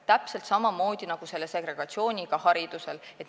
Täpselt samamoodi on segregatsiooniga hariduses.